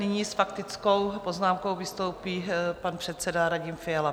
Nyní s faktickou poznámkou vystoupí pan předseda Radim Fiala.